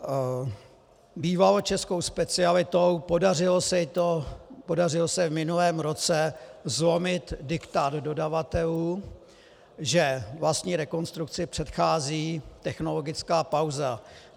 Bývalo českou specialitou, podařilo se v minulém roce zlomit diktát dodavatelů, že vlastní rekonstrukci předchází technologická pauza.